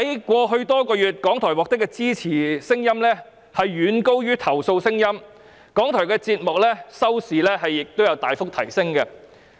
過去多個月來，港台獲得的支持遠高於投訴，節目收視率亦大幅提升。